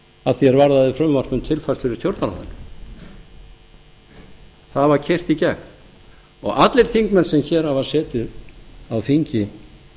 að því er varðaði frumvarp um tilfærslur í stjórnarráðinu það var keyrt í gegn og allir þingmenn sem hér hafa setið á þingi